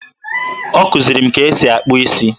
Ọ kụziri m ka esi akpụ isi